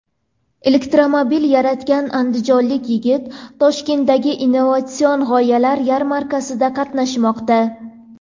Elektromobil yaratgan andijonlik yigit Toshkentdagi innovatsion g‘oyalar yarmarkasida qatnashmoqda .